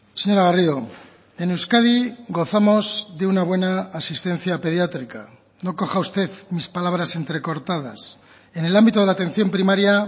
señora garrido en euskadi gozamos de una buena asistencia pediátrica no coja usted mis palabras entrecortadas en el ámbito de la atención primaria